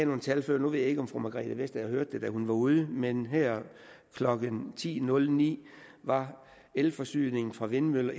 nogle tal før nu ved jeg ikke om fru margrethe vestager hørte det da hun var ude men her klokken ti nul ni var elforsyningen fra vindmøller